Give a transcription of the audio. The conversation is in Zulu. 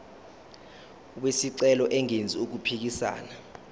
wesicelo engenzi okuphikisana